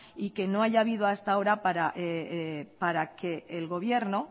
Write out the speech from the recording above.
y que no haya habido hasta ahora para que el gobierno